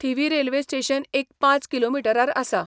थिवीं railway station एक पांच किलोमिटरार आसा.